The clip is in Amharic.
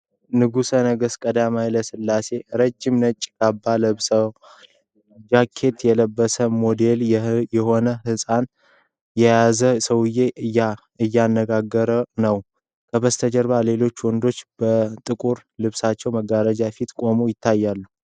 ንጉሠ ነገሥት ቀዳማዊ ኃይለ ሥላሴ ረጅም ነጭ ካባ ለብሰዋል። ጃኬት የለበሰ፣ ሞዴል የሆነ ሕንጻ የያዘ ሰውዬ እያነጋገራቸው ነው። ከበስተጀርባ ሌሎች ወንዶች በጥቁር ልብስና መጋረጃዎች ፊት ቁመው ይታያሉ።